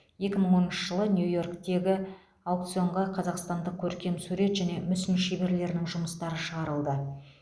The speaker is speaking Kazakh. екі мың оныншы жылы нью йорктегі аукционға қазақстандық көркемсурет және мүсін шеберлерінің жұмыстары шығарылды